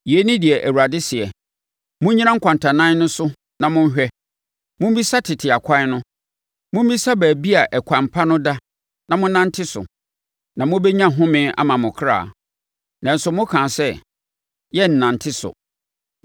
Yei ne deɛ Awurade seɛ, “Monnyina nkwantanan no so na monhwɛ; mommisa tete akwan no, mommisa baabi a ɛkwan pa no da na monnante so, na mobɛnya homeɛ ama mo akra. Nanso mokaa sɛ, ‘yɛnnante so.’